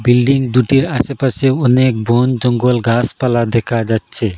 Building দুটির আশেপাশে অনেক বনজঙ্গল গাসপালা দেখা যাচ্ছে।